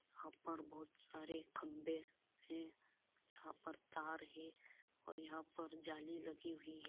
यहां पर बहुत सारे खम्भे हैं जहां पर तार है और यहां पर जाली लगी हुई है।